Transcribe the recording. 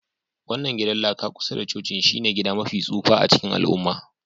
wannan gidan laka kusa da cocin shine gida mafi tsufa a cikin al'umma.